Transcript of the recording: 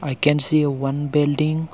we can see a one building.